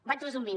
vaig resumint